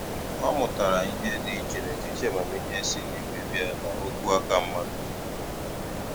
Ọ mụtara ihe dị iche n'etiti amamihe si n'igwe bịa na okwu aka mmadụ.